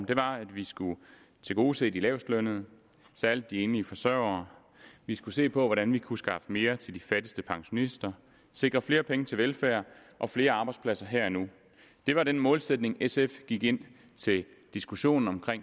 det var at vi skulle tilgodese de lavestlønnede særlig de enlige forsøgere vi skulle se på hvordan vi kunne skaffe mere til de fattigste pensionister sikre flere penge til velfærd og flere arbejdspladser her og nu det var den målsætning sf gik ind til diskussionen om